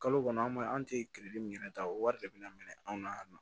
Kalo kɔnɔ an b'a an te min yɛrɛ ta o wari de bɛna minɛ anw na yan nɔ